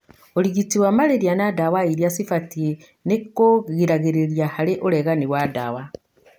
ũrigiti wa malaria na ndawa iria cĩbatie nĩkũgiragĩrĩria hari ũregani wa ndawa.